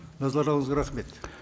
назарларыңызға рахмет